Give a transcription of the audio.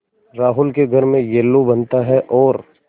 रोहन के घर में येल्लू बनता है और